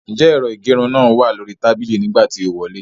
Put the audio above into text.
Ǹjẹ́ ẹ̀rọ ìgẹrun náà wà lóríi tàbíílì nígbà tí o wọlé?